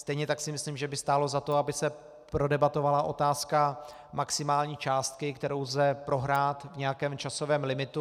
Stejně tak si myslím, že by stálo za to, aby se prodebatovala otázka maximální částky, kterou lze prohrát v nějakém časovém limitu.